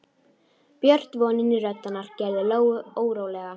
Björt vonin í rödd hennar gerði Lóu órólega.